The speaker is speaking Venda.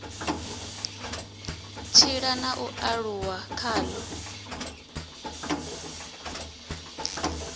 tshila na u aluwa khalo